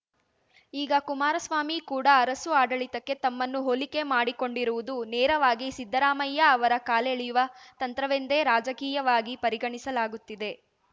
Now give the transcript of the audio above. ಈಗ ಕುಮಾರಸ್ವಾಮಿ ಕೂಡ ಅರಸು ಆಡಳಿತಕ್ಕೆ ತಮ್ಮನ್ನು ಹೋಲಿಕೆ ಮಾಡಿಕೊಂಡಿರುವುದು ನೇರವಾಗಿ ಸಿದ್ದರಾಮಯ್ಯ ಅವರ ಕಾಲೆಳೆಯುವ ತಂತ್ರವೆಂದೇ ರಾಜಕೀಯವಾಗಿ ಪರಿಗಣಿಸಲಾಗುತ್ತಿದೆ